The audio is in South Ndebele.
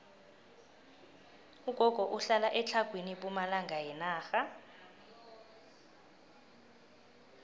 ugogo uhlala etlhagwini pumalanga yenarha